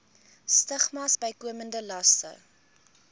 stigmas bykomende laste